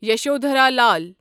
Yashodhara Lal